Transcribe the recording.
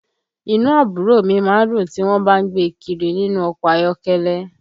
Inú àbúrò mi má ń dùn tí wọ́n bá ń gbé e kiri nínú ọkọ̀ ayọ́kẹ́lẹ́